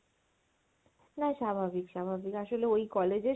না স্বাভাবিক স্বাভাবিক আসলে ওই college এর